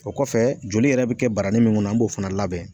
O kɔfɛ joli yɛrɛ be kɛ barani min kɔnɔ an b'o fana labɛn